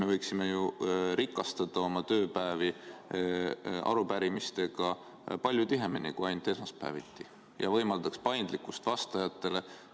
Me võiksime ju rikastada oma tööpäevi arupärimistega palju tihedamini kui ainult esmaspäeviti ja see võimaldaks vastajatele paindlikkust.